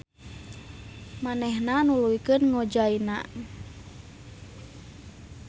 Manehna nuluykeun ngojayna.